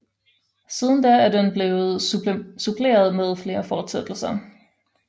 Siden da er den blevet suppleret med flere fortsættelser